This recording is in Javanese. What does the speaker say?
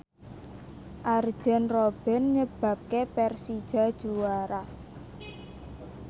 Arjen Robben nyebabke Persija juara